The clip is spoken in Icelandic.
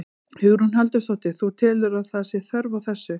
Hugrún Halldórsdóttir: Þú telur að, að það sé þörf á þessu?